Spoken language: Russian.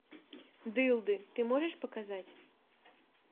дылды ты можешь показать